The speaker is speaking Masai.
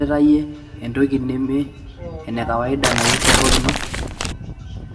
dolores idolita iyie entoki neme ene kawaida naihusu enkop ino